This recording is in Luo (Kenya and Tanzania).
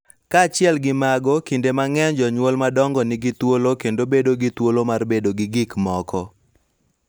Kaachiel gi mago, kinde mang�eny jonyuol madongo nigi thuolo kendo bedo gi thuolo mar bedo gi gik moko .